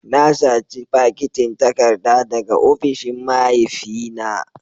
Na saci fakitin takarda daga ofishin mahaifina